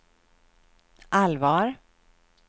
allvar